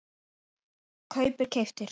kaupir- keyptir